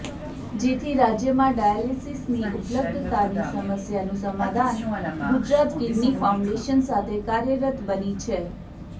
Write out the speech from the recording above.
જેથી રાજ્યમાં ડાયાલીસીસની ઉપલબ્ધતાની સમસ્યાનું સમાધાન ગુજરાત કીડની ફાઉન્ડેશન સાથે કાર્યરત બની છે